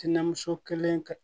Tinɛmuso kelen ka